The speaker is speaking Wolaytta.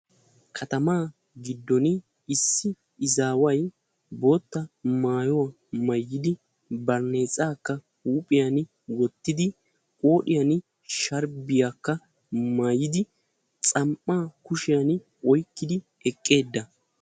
Kattamaa giddon issi izaaway bootta maayuwa maayidi baraneexaakka huuphiyan wottidi, huuphiyan sharbbiyakka maayidi xam"aa kushiyan oyqqidi eqqiis.